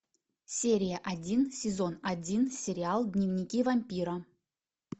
серия один сезон один сериал дневники вампира